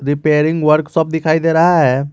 Repairing workshop दिखाई दे रहा है।